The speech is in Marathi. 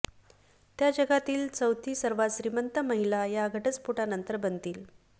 त्या जगातील चौथी सर्वात श्रीमंत महिला या घटस्फोटानंतर बनतील